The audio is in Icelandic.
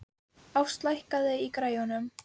Ást, lækkaðu í græjunum.